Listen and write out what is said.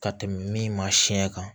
Ka tɛmɛ min ma siɲɛ kan